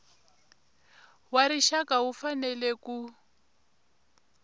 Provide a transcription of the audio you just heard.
wa rixaka wu fanele ku